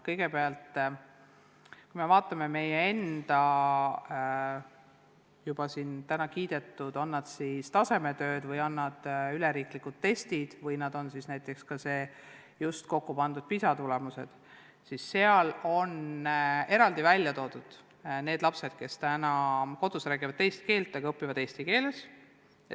Kõigepealt, kui me vaatame ka siin täna kiidetud tasemetöid või üleriigilisi teste või äsja kokku pandud PISA tulemusi, siis eraldi on välja toodud need lapsed, kes kodus räägivad teist keelt, aga õpivad eesti keeles.